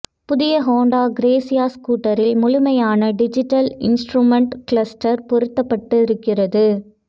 புதிய Honda Grazia ஸ்கூட்டரில் முழுமையான டிஜிட்டல் இன்ஸ்ட்ரூமென்ட் க்ளஸ்ட்டர் பொருத்தப்பட்டு இருக்கிறது